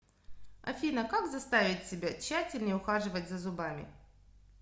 афина как заставить себя тщательнее ухаживать за зубами